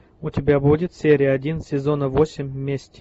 у тебя будет серия один сезона восемь месть